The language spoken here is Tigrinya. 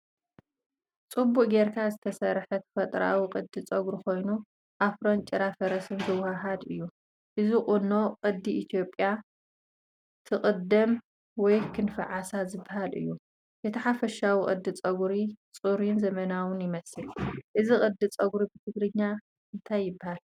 ጽቡቕ ጌርካ ዝተሰርሐ ተፈጥሮኣዊ ቅዲ ጸጉሪ ኮይኑ፡ ኣፍሮን ጭራ ፈረስን ዘወሃህድ እዩ። እዚ ቁኖ ቅዲ እ/ያ ትቅደም ወይ ክንፊዓሳ ዝባሃል እዩ ። እቲ ሓፈሻዊ ቅዲ ጸጉሪ ጽሩይን ዘመናውን ይመስል። እዚ ቅዲ ጸጉሪ ብትግርኛ እንታይ ይበሃል?